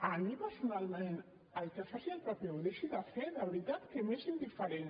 a mi personalment el que faci el pp o deixi de fer de veritat que m’és indiferent